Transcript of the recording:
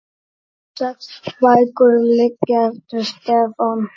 Sex bækur liggja eftir Stefán